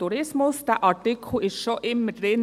Dieser Artikel war schon immer drin.